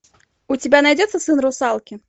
у тебя найдется сын русалки